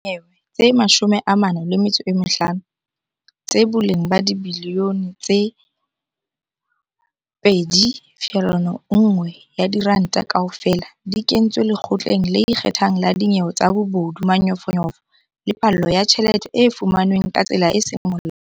Dinyewe tse 45, tsa boleng ba dibiliyone tse R2.1 kaofela, di kentswe Lekgotleng le Ikgethang la Dinyewe tsa Bobodu, Manyofonyofo le Phallo ya Tjhelete e fumanweng ka tsela e seng Molaong.